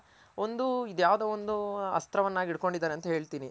ಒಂದು ಇದ್ಯಾವ್ದೋ ಒಂದು ಅಸ್ತ್ರ ವನ್ನಾಗ್ ಇಟ್ ಕೊಂಡಿದಾರೆ ಅಂತ ಹೇಳ್ತೀನಿ.